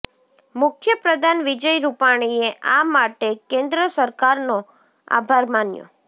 મુખ્યપ્રધાન વિજય રૂપાણીએ આ માટે કેન્દ્ર સરકારનો આભાર માન્યો